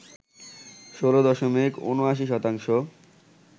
১৬ দশমিক ৭৯ শতাংশ